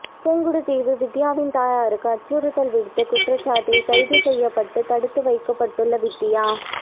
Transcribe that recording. புங்குடுதீவு வித்தியாவின் தாயாருக்கு அச்சுறுத்தல் விடுத்த குற்றச்சாட்டில் கைது செய்யப்பட்டு தடுத்து வைக்கப்பட்டுள்ள வித்தியா